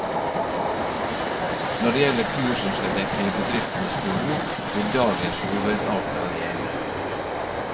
Når det gjelder kurs som skal dekke bedriftenes behov vil dagens hovedavtale gjelde.